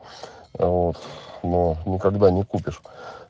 вот но никогда не купишь